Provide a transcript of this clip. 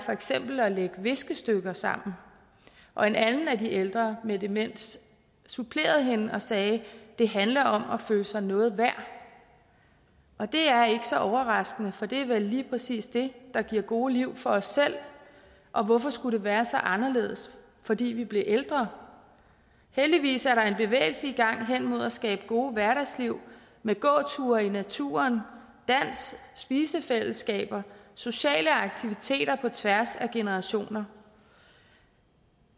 eksempel er at lægge viskestykker sammen og en anden af de ældre med demens supplerede hende og sagde det handler om at føle sig noget værd og det er ikke så overraskende for det er vel lige præcis det der giver gode liv for os selv og hvorfor skulle det være så anderledes fordi vi bliver ældre heldigvis er der en bevægelse i gang hen imod at skabe gode hverdagsliv med gåture i naturen dans spisefællesskaber sociale aktiviteter på tværs af generationer